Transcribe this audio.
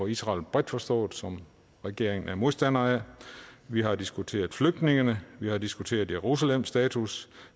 israel bredt forstået som regeringen er modstandere af vi har diskuteret flygtningene vi har diskuteret jerusalems status